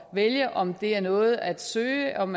vælge om det er noget at søge om